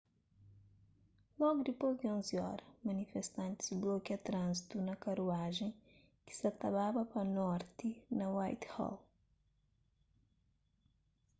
logu dipôs di 11:00 óra manifestantis blokia tránzitu na karuajen ki sa ta baba pa norti na whitehall